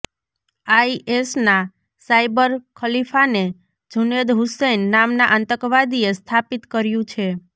આઈએસનાં cyber ખલીફાને જુનેદ હુસૈન નામના આતંકવાદીએ સ્થાપિત કર્યુ છે